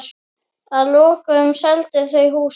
Og þau voru ófá.